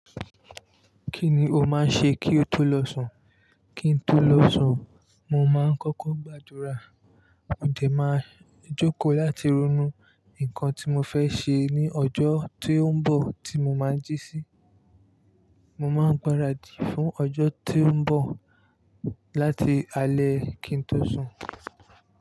Kí ni o máa ń ṣe kí o tó lọ sùn? Kí n tó lọ sùn, mo máa ń kọ́kọ́ gbàdúrà. Mo dẹ̀ máa jókòó láti ronú nǹkan tí mọ fẹ́ ṣe ní ọjọ́ ti ó ń bọ̀ tí mo máa jí sí. Mo máa ń gbáradì fún ọjọ́ ti ń bọ̀ láti alẹ́ kí n tó sùn.